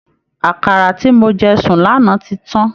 Àkàrà ti mo jẹ sùn lánàá tí tán